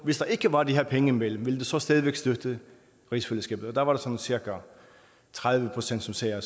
hvis der ikke var de her penge imellem så stadig ville støtte rigsfællesskabet og der var der sådan cirka tredive procent som sagde at